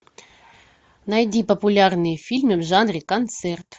найди популярные фильмы в жанре концерт